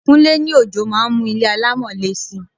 Kúnlé ní ojò máa ń mú ilé alámọ̀ le si.